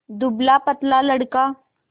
दुबलापतला लड़का